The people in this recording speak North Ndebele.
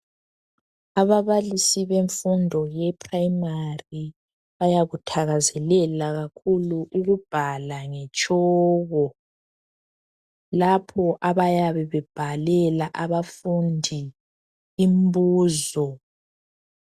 Ababalisi bemfundo yePrimary bayakuthakazelela kakhulu ukubhala ngetshoko lapho abayabe bebhalela abafundi imbuzo.